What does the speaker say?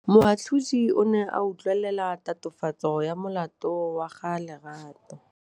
Moatlhodi o ne a utlwelela tatofatsô ya molato wa Lerato.